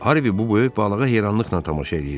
Harvi bu böyük balığa heyrranlıqla tamaşa eləyirdi.